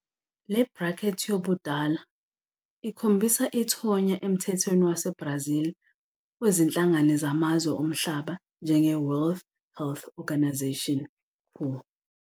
Le bracket yobudala ikhombisa ithonya emthethweni waseBrazil wezinhlangano zamazwe omhlaba njengeWorld Health Organisation, WHO.